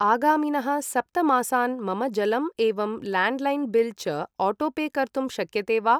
आगामिनः सप्त मासान् मम जलम् एवं ल्याण्ड् लैन् बिल् च आटो पे कर्तुं शक्यते वा ।